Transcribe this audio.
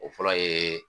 O fɔlɔ ye